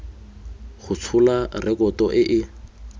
go tshola rekoto e e